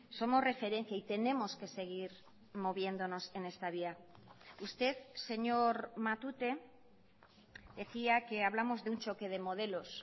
somos referencia y tenemos que seguir moviéndonos en esta vía usted señor matute decía que hablamos de un choque de modelos